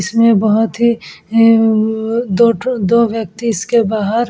इसमें बहोत ही अअअ दो ठो दो व्यक्ति इसके बाहर --